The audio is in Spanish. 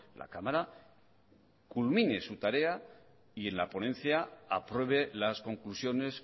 la cámara culmine su tarea y en la ponencia apruebe las conclusiones